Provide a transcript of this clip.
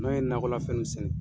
N'an ye nakɔlafɛn mun sɛnɛ